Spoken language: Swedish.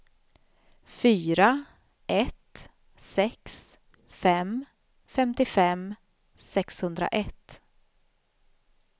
fyra ett sex fem femtiofem sexhundraett